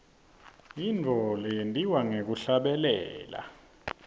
yintfo leyentiwa ngekuhlabelela